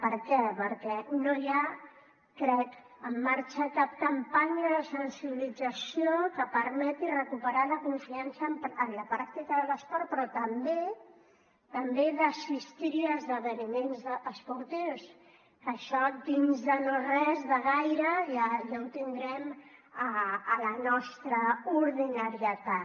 per què perquè no hi ha crec en marxa cap campanya de sensibilització que permeti recuperar la confiança en la pràctica de l’esport però també també d’assistir a esdeveniments esportius que això dins de no res de gaire ja ho tindrem a la nostra ordinarietat